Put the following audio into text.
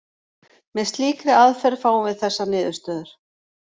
Með slíkri aðferð fáum við þessar niðurstöður: